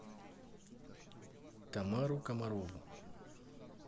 тамару комарову